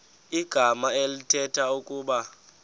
igama elithetha ukuba